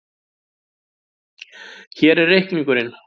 Hér er reikningurinn.